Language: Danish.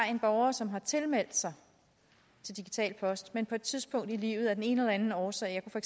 en borger som har tilmeldt sig digital post men på et tidspunkt i livet af den ene eller anden årsag jeg